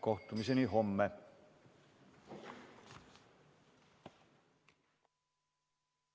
Kohtumiseni homme!